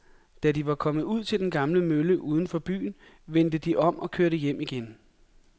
Da de var kommet ud til den gamle mølle uden for byen, vendte de om og kørte hjem igen.